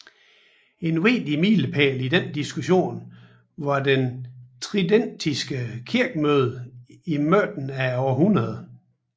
En vigtig milepæl i denne diskussion var det tridentinske kirkemøde i midten af århundredet